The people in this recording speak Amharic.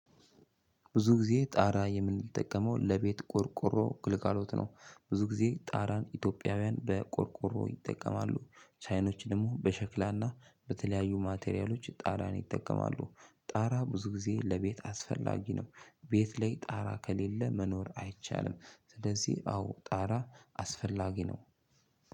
ብዙ ጊዜ ጣራ የምንጠቀመው ለቤት ቆርቆሮ ክልካሎት ነው ብዙ ጊዜ ጣራን ኢትዮጵያውያን በቆርቆሮ ይጠቀማሉ ቻይኖች ደግሞ በሸክላና በተለያዩ ማቴሪያሎች ጣራን ይጠቀማሉ ጣራ ብዙ ጊዜ ለቤት አስፈላጊ ነው። ቤት ላይ ጣራ ከሌለ መኖር አይቻልም ስለዚህ አዎ ጣራ አስፈላጊ ነው።